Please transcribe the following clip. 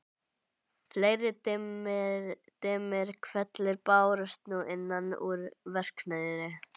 Fleiri dimmir hvellir bárust nú innan úr verksmiðju